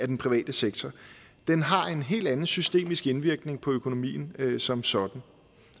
den private sektor den har en helt anden systemisk indvirkning på økonomien som sådan